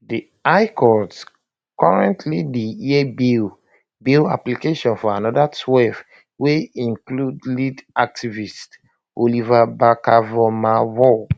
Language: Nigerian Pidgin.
di high court currently dey hear bail bail application for anoda twelve wey include lead activist oliver barkervormawor